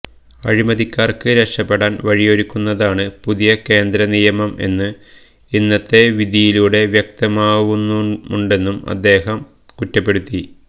അഴിമതിക്കാർക്ക് രക്ഷപ്പെടാൻ വഴിയൊരുക്കുന്നതാണ് പുതിയ കേന്ദ്ര നിയമം എന്ന് ഇന്നത്തെ വിധിയിലൂടെ വ്യക്തമാവുന്നുമുണ്ടെന്നും അദ്ദേഹം കുറ്റപ്പെടുത്തി